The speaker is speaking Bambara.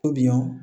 To bi yan